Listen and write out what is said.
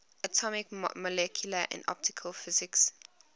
atomic molecular and optical physics